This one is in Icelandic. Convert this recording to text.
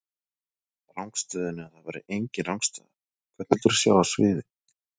Rangstöðunni, að það væri enginn rangstaða Hvern vildir þú sjá á sviði?